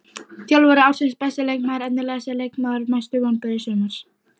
Þjálfari ársins Besti leikmaðurinn Efnilegasti leikmaðurinn Mestu vonbrigði sumarsins?